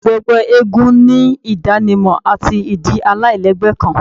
Gbogbo ẹgbẹ eégún ni idanimọ ati idi alailẹgbẹ kan